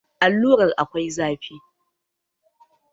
Allurar akwai zafi